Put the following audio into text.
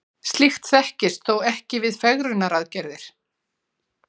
slíkt þekkist þó ekki við fegrunaraðgerðir